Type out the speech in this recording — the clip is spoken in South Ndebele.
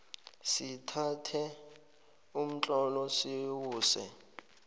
sithathe umtlolo siwuse